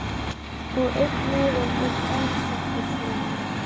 Og einn miðinn er dagsettur svona